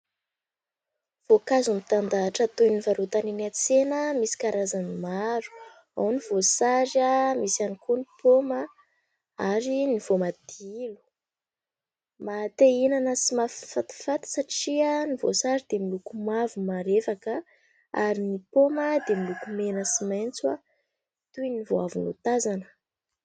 Voankazo mitandahatra toy ny varotana eny an-tsena misy karazany maro : ao ny voasary, misy ihany koa ny paoma ary ny voamadilo. Maha te hihinana sy mahafatifaty satria ny voasary dia miloko mavo marevaka ary ny paoma dia miloko mena sy maitso toy ny vao avy notazana.